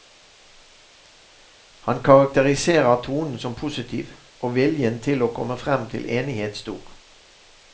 Han karakteriserer tonen som positiv, og viljen til å komme frem til enighet stor.